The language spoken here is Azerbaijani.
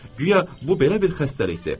Guya bu belə bir xəstəlikdir.